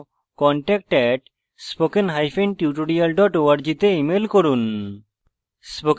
বিস্তারিত তথ্যের জন্য contact @spokentutorial org তে ইমেল করুন